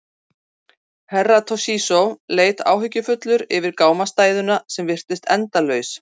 Herra Toshizo leit áhyggjufullur yfir gámastæðuna sem virtist endalaus.